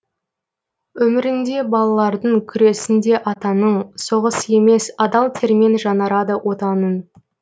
өмірінде балалардың күресінде атаның соғыс емес адал термен жаңарады отаның